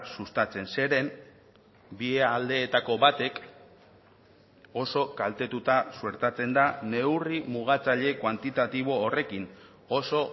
sustatzen zeren bi aldeetako batek oso kaltetuta suertatzen da neurri mugatzaile kuantitatibo horrekin oso